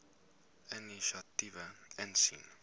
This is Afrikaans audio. inisiatiewe insien